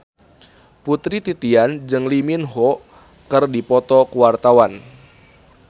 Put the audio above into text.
Putri Titian jeung Lee Min Ho keur dipoto ku wartawan